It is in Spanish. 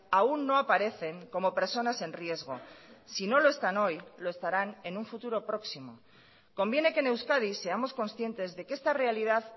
aún no aparecen como personas en riesgo si no lo están hoy lo estarán en un futuro próximo conviene que en euskadi seamos conscientes de que esta realidad